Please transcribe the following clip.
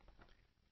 ਪੁਨਾਹ ਪ੍ਰਵਰਧੇਤਾ